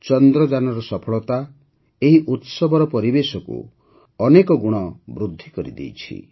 ଚନ୍ଦ୍ରଯାନର ସଫଳତା ଏହି ଉତ୍ସବର ଖୁସିକୁ ବହୁ ଗୁଣ ବୃଦ୍ଧି କରିଦେଇଛି